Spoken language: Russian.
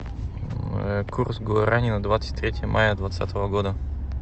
курс гуарани на двадцать третье мая двадцатого года